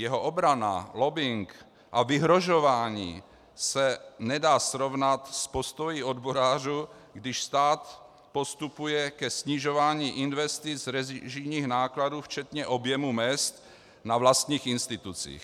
Jeho obrana, lobbing a vyhrožování se nedá srovnat s postoji odborářů, když stát postupuje ke snižování investic režijních nákladů včetně objemu mezd na vlastních institucích.